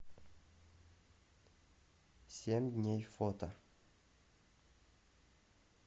семь дней фото